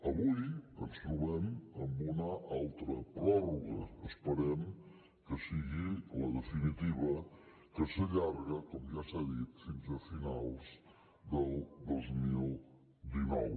avui ens trobem amb una altra pròrroga esperem que sigui la definitiva que s’allarga com ja s’ha dit fins a finals del dos mil dinou